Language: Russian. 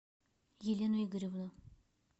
елену игоревну